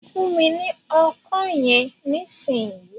Fún mi ní Ọkọ́ yẹn ní ìsìn yìí!